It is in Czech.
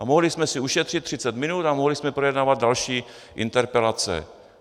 A mohli jsme si ušetřit 30 minut a mohli jsme projednávat další interpelace.